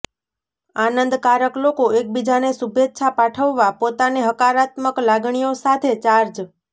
આનંદકારક લોકો એકબીજાને શુભેચ્છા પાઠવવા પોતાને હકારાત્મક લાગણીઓ સાથે ચાર્જ